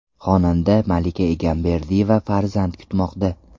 Xonanda Malika Egamberdiyeva farzand kutmoqda.